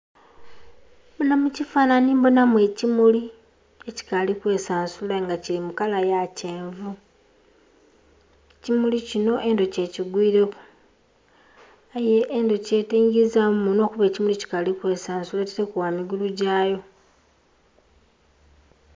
Muno mu kifanhanhi mbonamu ekimuli, ekikaali kwesansula aye nga kili mu kala ya kyenvu. Ekimuli kino endhuki ekigwiileku. Aye endhuki teyingizaamu munhwa kuba ekimuli kikaali kwesansula. Ataileku bwa migulu gya yo.